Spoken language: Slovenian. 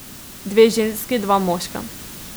Dve ženski, dva moška.